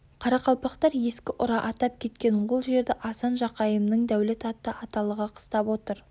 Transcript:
қарақалпақтар ескі ұра атап кеткен ол жерді асан жақайымның дәулет атты аталығы қыстап отыр